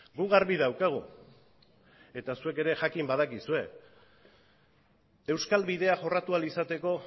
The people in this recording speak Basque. gu garbi daukagu eta zuek ere jakin badakizue euskal bidea jorratu ahal izateko